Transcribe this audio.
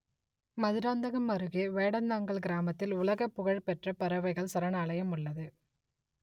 மதுராந்தகம் அருகே வேடந்தாங்கல் கிராமத்தில் உலகப் புகழ் பெற்ற பறவைகள் சரணாலயம் உள்ளது